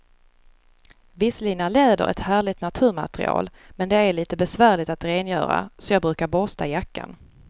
Visserligen är läder ett härligt naturmaterial, men det är lite besvärligt att rengöra, så jag brukar borsta jackan.